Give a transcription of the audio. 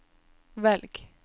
velg